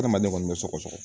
Adamaden kɔni bɛ sɔgɔsɔgɔ